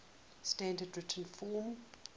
standard written form